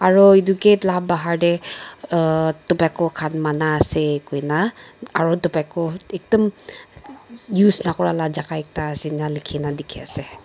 aro edu gate la bahar tae uhhh tobacco khan mana ase koina aro tobacco ekdum use nakura la jaka ekta ase ena likhi na dikhiase.